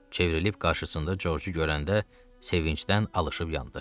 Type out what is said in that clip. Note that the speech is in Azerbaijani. Çevrilib qarşısında George-u görəndə sevincdən alışıp yandı.